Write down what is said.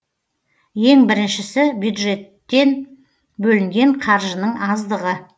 ең біріншісі бюджетен бөлінген қаржының аздығы